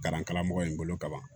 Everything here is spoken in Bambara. Kalan karamɔgɔ in bolo ka ban